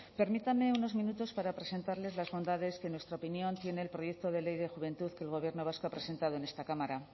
permítanme unos minutos para presentarles las bondades que en nuestra opinión tiene el proyecto de ley de juventud que el gobierno vasco ha presentado en esta cámara